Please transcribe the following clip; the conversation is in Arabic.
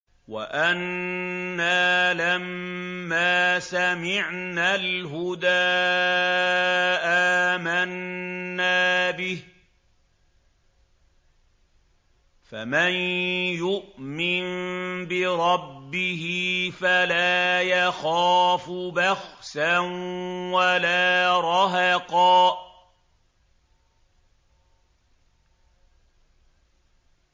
وَأَنَّا لَمَّا سَمِعْنَا الْهُدَىٰ آمَنَّا بِهِ ۖ فَمَن يُؤْمِن بِرَبِّهِ فَلَا يَخَافُ بَخْسًا وَلَا رَهَقًا